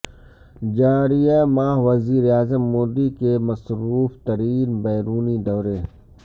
جاریہ ماہ وزیر اعظم مودی کے مصروف ترین بیرونی دورے